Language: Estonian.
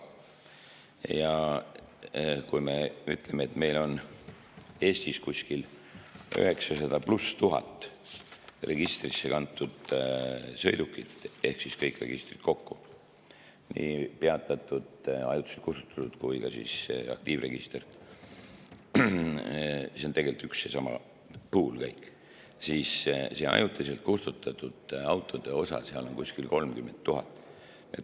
Ja kui me ütleme, et meil on Eestis kuskil 900 000+ registrisse kantud sõidukit ehk siis kõik registrid kokku – nii peatatud, ajutiselt kustutatud kui ka aktiivregister –, siis see ajutiselt kustutatud autode osa on seal kuskil 30 000.